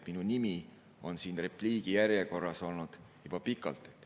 Minu nimi on siin repliikide järjekorras olnud juba pikalt.